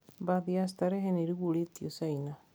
Bathi ya sterehe niirugũrĩtio China.